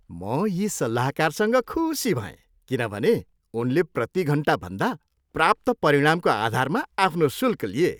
म यी सल्लाहकारसँग खुसी भएँ किनभने उनले प्रतिघन्टाभन्दा प्राप्त परिणामको आधारमा आफ्नो शुल्क लिए।